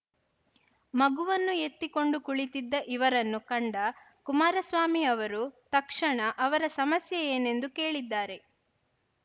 ಮಗುವನ್ನು ಎತ್ತಿಕೊಂಡು ಕುಳಿತಿದ್ದ ಇವರನ್ನು ಕಂಡ ಕುಮಾರಸ್ವಾಮಿ ಅವರು ತಕ್ಷಣ ಅವರ ಸಮಸ್ಯೆ ಏನೆಂದು ಕೇಳಿದ್ದಾರೆ